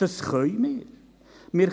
Dies können wir.